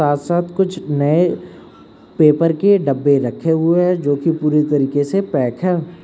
साथ साथ कुछ नए पेपर के डब्बे रखे हुए हैं जो की पूरी तरीके से पैक हैं।